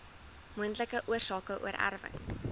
moontlike oorsake oorerwing